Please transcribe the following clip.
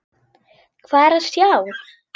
Hvað er að sjá